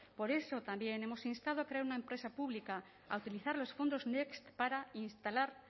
por eso también hemos instado a crear una empresa pública a utilizar los fondos next para instalar